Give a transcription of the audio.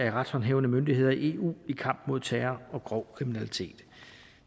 af retshåndhævende myndigheder i eu i kampen mod terror og grov kriminalitet